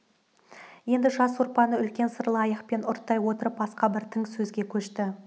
енді жас сорпаны үлкен сырлы аяқпен ұрттай отырып басқа бір тың сөзге көшті